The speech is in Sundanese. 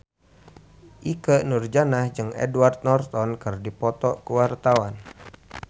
Ikke Nurjanah jeung Edward Norton keur dipoto ku wartawan